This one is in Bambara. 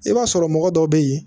I b'a sɔrɔ mɔgɔ dɔw be yen